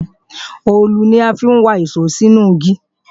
òòlù ni a fi ń wa ìṣó sínú igi